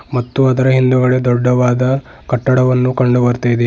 ಮತ್ತು ಅದರ ಹಿಂದುಗಡೆ ದೊಡ್ಡವಾದ ಕಟ್ಟಡವನ್ನು ಕಂಡು ಬರುತ್ತಾಯಿದೆ.